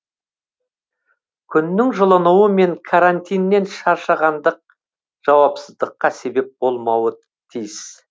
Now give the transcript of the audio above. күннің жылынуы мен карантиннен шаршағандық жауапсыздыққа себеп болмауы тиіс